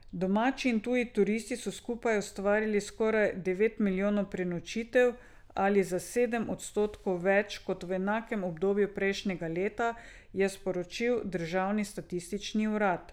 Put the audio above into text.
Domači in tuji turisti so skupaj ustvarili skoraj devet milijonov prenočitev ali za sedem odstotkov več kot v enakem obdobju prejšnjega leta, je sporočil državni statistični urad.